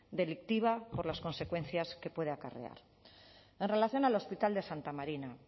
delictiva por las consecuencias que puede acarrear en relación al hospital de santa marina